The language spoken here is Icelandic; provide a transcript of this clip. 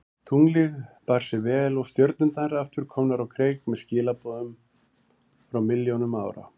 Tunglið bar sig vel og stjörnurnar aftur komnar á kreik með skilaboð frá milljónum ára.